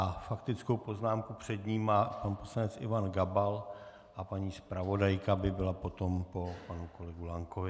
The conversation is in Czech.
A faktickou poznámku před ním má pan poslanec Ivan Gabal a paní zpravodajka by byla potom po panu kolegovi Lankovi.